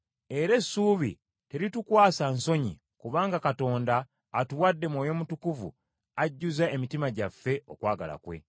Era essuubi teritukwasa nsonyi kubanga Katonda atuwadde Mwoyo Mutukuvu ajjuza emitima gyaffe okwagala kwe.